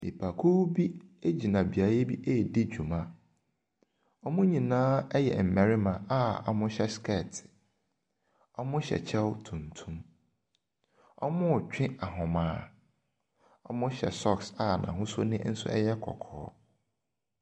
Nnipakuo bi gyina beaeɛ bi ɛredi dwuma. Wɔn nyinaa yɛ mmarima a wɔhyɛ sekɛɛte. Wɔhyɛ kyɛw tuntum. Wɔretwe ahoma, wɔhyɛ socks a n’hosuo yɛ kɔkɔɔ.